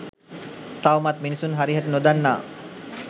තවමත් මිනිසුන් හරිහැටි නොදන්නා